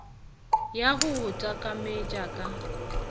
ya go go takametša ka